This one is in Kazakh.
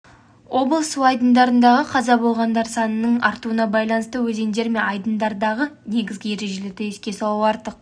етпейді алайда батыс қазақстан облысы төтенша жағдайлар департаменті ақжайық ауданы бөлімінің қызметкерлері мектеп жанындағы лагерьлердің